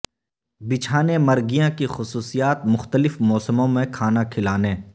بچھانے مرگیاں کی خصوصیات مختلف موسموں میں کھانا کھلانے